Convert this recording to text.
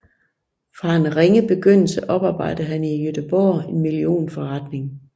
Fra en ringe begyndelse oparbejdede han i Göteborg en millionforretning